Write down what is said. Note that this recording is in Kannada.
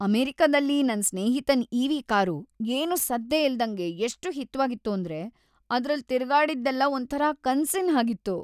ಅಮೆರಿಕದಲ್ಲಿ ನನ್ ಸ್ನೇಹಿತನ್ ಇ.ವಿ. ಕಾರು ಏನೂ ಸದ್ದೇ ಇಲ್ದಂಗೆ ಎಷ್ಟ್ ಹಿತ್ವಾಗಿತ್ತು ಅಂದ್ರೆ ಅದ್ರಲ್ಲ್‌ ತಿರ್ಗಾಡಿದ್ದೆಲ್ಲ ಒಂಥರ ಕನ್ಸಿನ್‌ ಹಾಗಿತ್ತು.